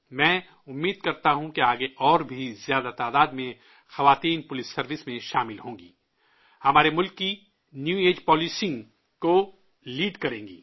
میں امید کرتا ہوں کہ آگے اور بھی زیادہ تعداد میں عورتیں پولیس سروس میں شامل ہوں گی، ہمارے ملک کی نیو ایج پولیسنگ کو لیڈ کریں گی